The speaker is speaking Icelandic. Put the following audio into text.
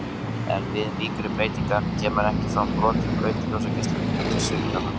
En við mýkri breytingar kemur ekki fram brot í braut ljósgeisla, heldur svignar hann.